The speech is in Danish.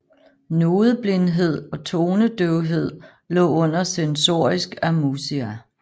Nodeblindhed og tonedøvhed lå under sensorisk amusia